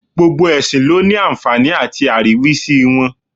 Gbogbo ẹ̀sìn ló àǹfààní àti àríwísí.